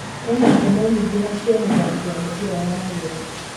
Ena ngumo nyĩngĩ na cia mũthaki wa mũbira wa magũrũ